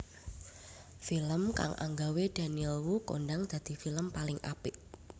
Film kang anggawe Daniel Wu kondhang dadi film paling apik